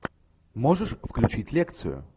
можешь включить лекцию